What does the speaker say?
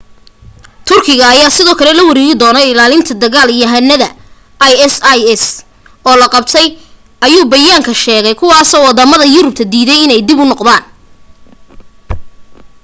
turkiga ayaa sidoo kale la wareegi doonaa ilaalinta dagal yahanada isis oo la qabtay ayuu bayaanka sheegay kuwaasoo wadamada yurubta diiday inay dib u noqdaan